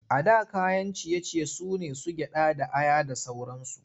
A da kayan ciye-ciye su ne su gyaɗa da aya da sauransu.